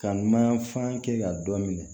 Ka mayanfan kɛ ka dɔ minɛ